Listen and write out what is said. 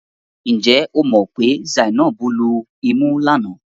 Ǹ jẹ́ o mọ̀ pé Zainab lumú lánàá?